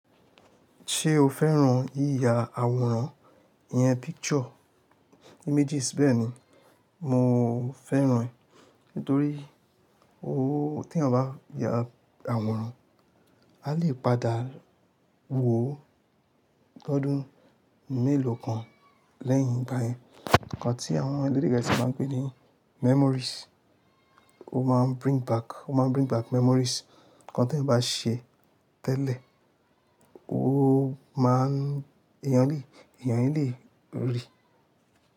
Ṣé o fẹ́ràn yíya àwòrán? Iyẹn picture, images bẹ́ẹ̀ ni. Mo fẹ́ràn ẹ̀ nítorí oó tí eeyan bá ya àwòrán, a lè padà wò ó lọ́dún mélòó kan lẹ́yìn igbáyen. Ǹkan tí àwọn elede geesi máa ń pè ní memories. Ó máa ń bring back, ó máa ń bring back memories. Ǹkan tí ẹ̀yàn bá ṣe tẹ́lẹ̀, ó máa ń èyànle, èyànle rì.